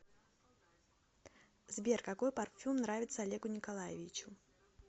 сбер какой парфюм нравится олегу николаевичу